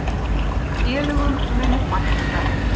Félögum muni fækka.